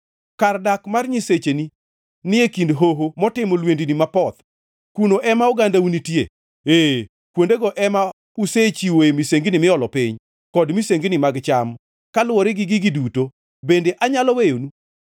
Kar dak mar nyisecheni ni e kind hoho motimo lwendni mapoth, kuno ema ogandau nitie. Ee, kuondego ema usechiwoe misengini miolo piny, kod misengini mag cham. Kaluwore gi gigi duto, bende anyalo weyonu?